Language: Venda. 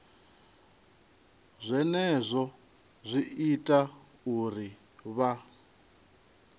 zwenezwo zwi ita uri vha